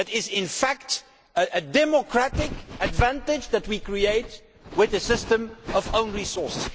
That is, in fact, a democratic advantage that we create with a system of own resources.